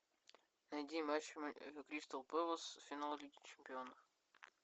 найди матч кристал пэлас финал лиги чемпионов